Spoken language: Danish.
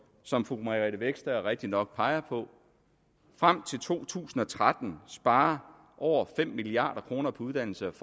som fru margrethe vestager rigtigt nok peger på frem til to tusind og tretten spare over fem milliard kroner på uddannelse og